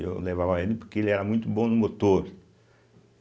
Eu levava ele porque ele era muito bom no motor.